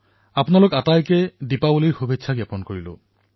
আপোনালোক সকলোলৈ দিপাৱলীৰ অলেখ শুভকামনা যাচিলো